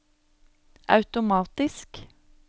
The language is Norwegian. automatisk